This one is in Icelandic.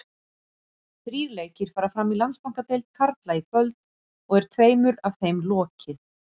Þrír leikir fara fram í Landsbankadeild karla í kvöld og er tveimur af þeim lokið.